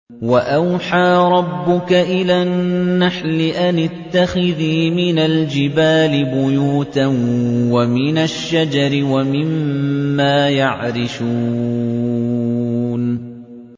وَأَوْحَىٰ رَبُّكَ إِلَى النَّحْلِ أَنِ اتَّخِذِي مِنَ الْجِبَالِ بُيُوتًا وَمِنَ الشَّجَرِ وَمِمَّا يَعْرِشُونَ